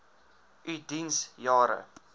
u diens jare